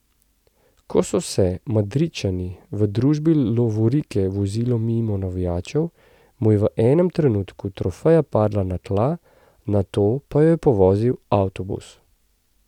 Ko so se Madridčani v družbi lovorike vozili mimo navijačev, mu je v enem trenutku trofeja padla na tla, nato pa jo je povozil avtobus.